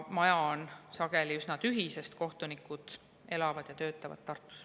Maja on sageli üsna tühi, sest kohtunikud elavad ja töötavad Tartus.